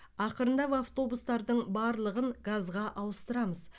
ақырындап автобустардың барлығын газға ауыстырамыз